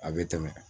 A bɛ tɛmɛ